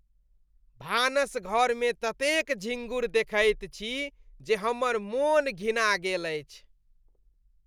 भानसघरमे ततेक झिँगुर देखैत छी जे हमर मोन घिना गेल अछि।